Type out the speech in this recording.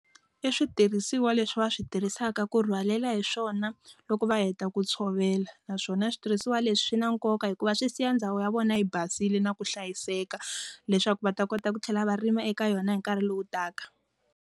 I switirhisiwa leswi va swi tirhisaka ku rhwalela hi swona loko va heta ku tshovela. Naswona switirhisiwa leswi swi na nkoka hikuva swi siya ndhawu ya vona yi basile na ku hlayiseka, leswaku va ta kota ku tlhela varimi eka yona hi nkarhi lowu taka.